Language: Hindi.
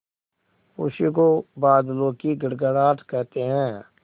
उसी को बादलों की गड़गड़ाहट कहते हैं